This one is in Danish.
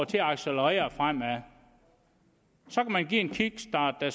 til at accelerere fremad så kan man give en kickstart der